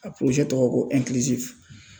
A tɔgɔ ko